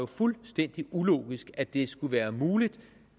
fuldstændig ulogisk at det skulle være muligt